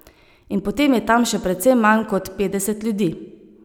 In potem je tam še precej manj kot petdeset ljudi.